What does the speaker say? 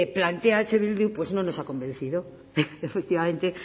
plantea eh bildu pues no nos ha convencido efectivamente